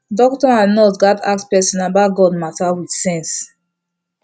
doctor and nurse gatz ask person about god matter with sense